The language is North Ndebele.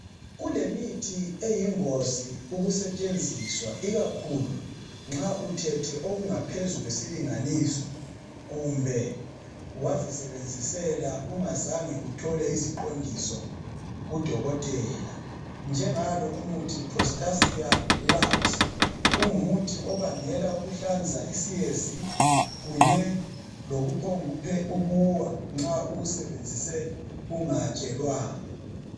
Kulemithi eyingozi ukusetshenziswa ikakhulu nxa uthethe okungaphezu kwesilinganiso kumbe wazisebenzisela ungazange uthola iziqondiso kudokotela. Njengalo umuthi prostasia labs ungumuthi obangela ukuhlanza, isiyezi kunye lokuphongukuwa nxa uwusebenzise ungatshelwanga.